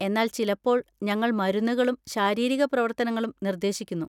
എന്നാൽ ചിലപ്പോൾ ഞങ്ങൾ മരുന്നുകളും ശാരീരിക പ്രവർത്തനങ്ങളും നിർദ്ദേശിക്കുന്നു.